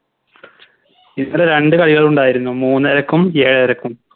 ഇന്നലെ രണ്ട് കളികൾ ഉണ്ടായിരുന്നു മൂന്നരക്കും ഏഴരക്കും